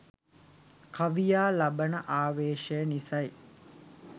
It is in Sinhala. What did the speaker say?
කවියා ලබන ආවේශය නිසයි.